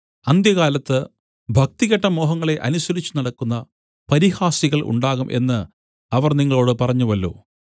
അന്ത്യകാലത്ത് ഭക്തികെട്ട മോഹങ്ങളെ അനുസരിച്ചുനടക്കുന്ന പരിഹാസികൾ ഉണ്ടാകും എന്ന് അവർ നിങ്ങളോട് പറഞ്ഞുവല്ലോ